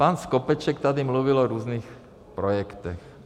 Pan Skopeček tady mluvil o různých projektech.